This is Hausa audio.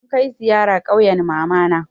Mun kai ziyara ƙauyen mamana.